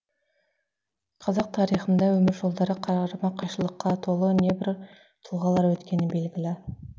қазақ тарихында өмір жолдары қарама қайшылыққа толы небір тұлғалар өткені белгілі